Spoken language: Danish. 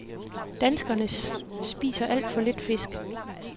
Danskernes spiser alt for lidt fisk.